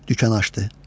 Dükan açdı.